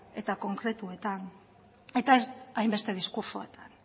eta konkretuetan eta ez hainbeste diskurtsoetan